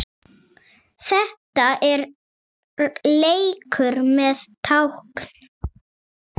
Þetta er leikur með tákn